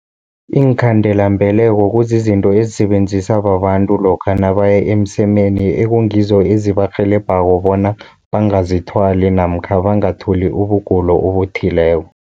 Iinkhandela-mbeleko kuzizinto ezisebenzisa babantu, lokha nabaya emsemeni ekungizo ezibarhelebhako bona bangazithwali, namkha bangatholi ubugulo obuthileko.